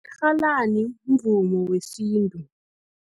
Irhalani, umvumo wesintu.